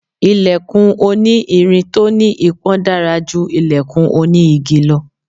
Ilẹ̀kùn oní irin tó ní ipọn dára ju ilẹ̀kùn oní igi lọ.